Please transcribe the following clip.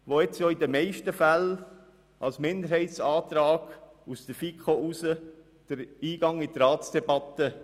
Sie finden in den meisten Fällen als Minderheitsanträge der FiKo Eingang in die Debatte.